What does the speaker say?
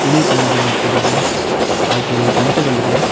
ಬಿಳಿ ಬಣ್ಣದಿಂದ ಕೂಡಿದ ಹಾಗೆ ಗಂಟೆಗಳಿದೆ.